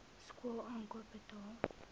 skool aankoop betaal